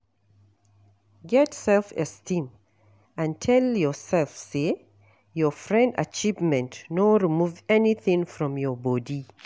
Get self esteem and tell yourself say your friend achievement no remove anything from your bodi